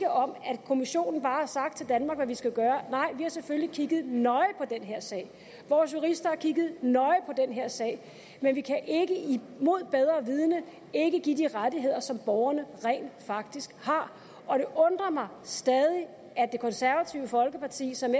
om at kommissionen bare har sagt til danmark hvad vi skal gøre nej vi har selvfølgelig kigget nøje på den her sag vores jurister har kigget nøje på den her sag men vi kan ikke imod bedre vidende ikke give de rettigheder som borgerne rent faktisk har og det undrer mig stadig at det konservative folkeparti som